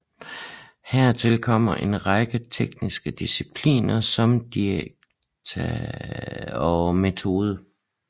Hertil kommer en række tekniske discipliner som didaktik og metode